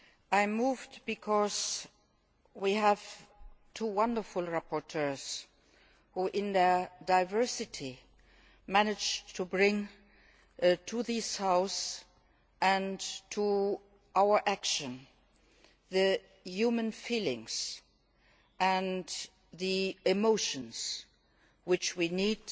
I am moved because we have two wonderful rapporteurs who in their diversity managed to bring to this House and to our action the human feelings and the emotions which we need